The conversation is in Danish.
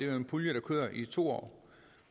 er en pulje der kører i to år